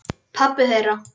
Pabbi þeirra?